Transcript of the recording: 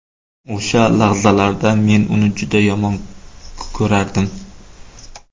O‘sha lahzalarda men uni juda yomon ko‘rardim.